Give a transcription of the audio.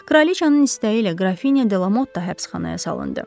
Kraliçanın istəyi ilə Qrafinya Delamotta həbsxanaya salındı.